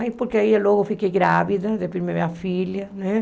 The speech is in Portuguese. Aí porque aí eu logo fiquei grávida, depois minha filha, né?